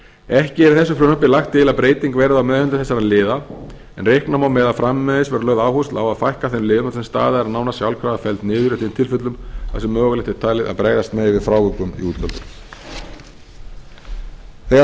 ekki er í þessu frumvarpi lagt til að breyting verði á meðhöndlun þessara liða en reikna má með að framvegis verði lögð áhersla á að fækka þeim liðum þar sem staða er nánast sjálfkrafa felld niður í þeim tilfellum þar sem mögulegt er talið að bregðast megi við frávikum í útgjöldum þegar